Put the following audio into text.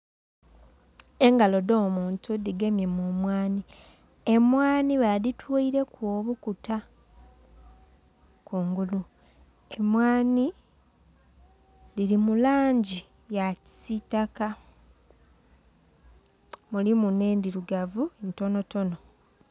Engalo dh'omuntu dhigemye mu mwanhi. Emwanhi badhitweileku obukuta kungulu. Emwanhi dhili mu langi ya kisitaka. Mulimu nh'endhirugavu ntonotono.